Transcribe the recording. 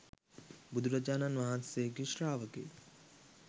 බුදුරජාණන් වහන්සේගේ ශ්‍රාවකයෙක්.